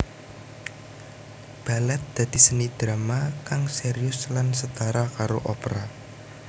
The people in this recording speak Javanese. Balèt dadi seni drama kang sérius lan setara karo opera